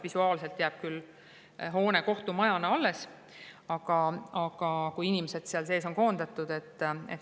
Visuaalselt jääb küll kohtumajahoone alles, aga inimesed seal sees on koondatud.